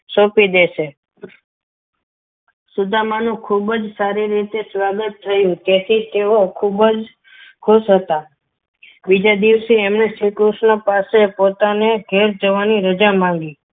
સોંપી દેશે સુદામાનું ખૂબ જ સારી રીતે સ્વાગત થયું તેથી તેઓ ખૂબ જ ખુશ હતા બીજા દિવસે શ્રીકૃષ્ણએ તેમને પોતાની પાસે ઘેર જવાની રજા માગી.